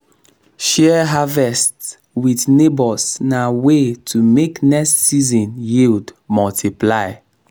share harvest with neighbours na way to make next season yield multiply.